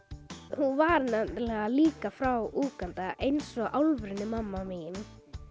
hún var nefnilega líka frá Úganda eins og alvöru mamma mín